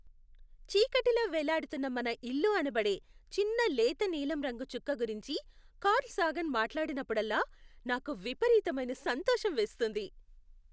చీకటిలో వేలాడుతున్న మన ఇల్లు అనబడే చిన్న లేత నీలం రంగు చుక్క గురించి కార్ల్ సాగన్ మాట్లాడినప్పుడల్లా నాకు విపరీతమైన సంతోషం వేస్తుంది.